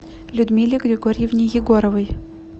людмиле григорьевне егоровой